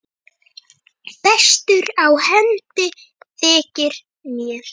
Bestur á hendi þykir mér.